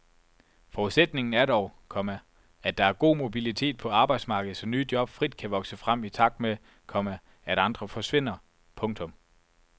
Forudsætningen er dog, komma at der er god mobilitet på arbejdsmarkedet så nye job frit kan vokse frem i takt med, komma at andre forsvinder. punktum